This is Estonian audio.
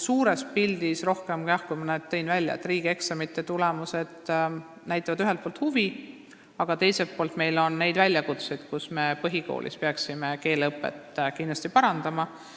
Riigieksamite tulemused näitavad ühelt poolt huvi, aga teiselt poolt on meil väljakutseid, et me peaksime põhikoolis keeleõpet kindlasti parandama.